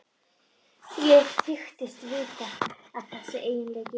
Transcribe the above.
Ég þykist vita að þessi eiginleiki